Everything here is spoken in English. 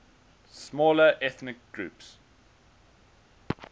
smaller ethnic groups